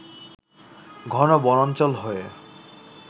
ঘন বনাঞ্চল হয়ে